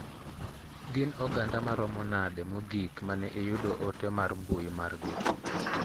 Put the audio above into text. Gin oganda maromo nade mogik mane iyudo ote mar mbui mar gi.